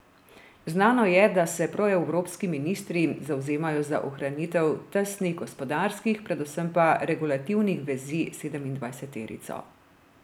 Znano je, da se proevropski ministri zavzemajo za ohranitev tesnih gospodarskih, predvsem pa regulativnih vezi s sedemindvajseterico.